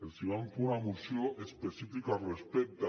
els vam fer una moció específica al respecte